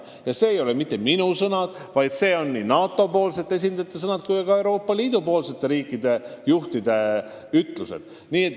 Ja need ei ole mitte minu sõnad, seda kinnitavad nii NATO esindajad kui ka Euroopa Liidu riikide juhid.